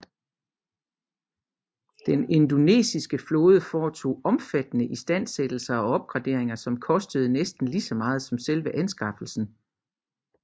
Den indonesiske flåde foretog omfattende istandsættelser og opgraderinger som kostede næsten lige så meget som selve anskaffelsen